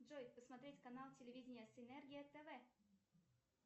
джой посмотреть канал телевидения синергия тв